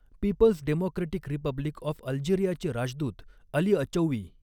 People's democratic republic of अल्जेरियाचे राजदूत Ali Achoui.